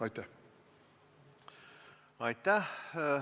Aitäh!